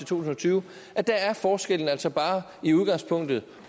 tusind og tyve at der er forskellen altså i udgangspunktet